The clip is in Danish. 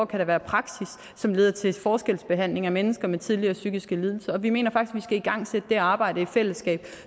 kan være praksis som leder til forskelsbehandling af mennesker med tidligere psykiske lidelser og vi mener faktisk igangsætte det arbejde i fællesskab